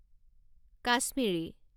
Kashmiri